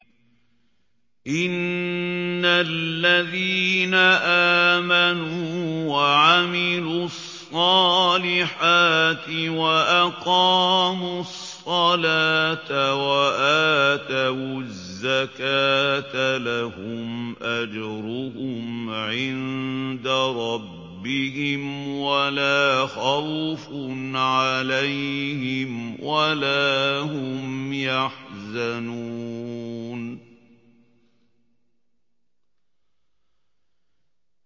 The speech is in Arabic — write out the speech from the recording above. إِنَّ الَّذِينَ آمَنُوا وَعَمِلُوا الصَّالِحَاتِ وَأَقَامُوا الصَّلَاةَ وَآتَوُا الزَّكَاةَ لَهُمْ أَجْرُهُمْ عِندَ رَبِّهِمْ وَلَا خَوْفٌ عَلَيْهِمْ وَلَا هُمْ يَحْزَنُونَ